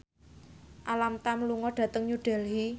Alam Tam lunga dhateng New Delhi